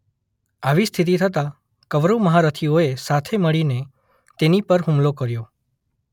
આવી સ્થિતિ થતાં કૌરવ મહારથીઓએ સાથે મળીને તેની પર હુમલો કર્યો.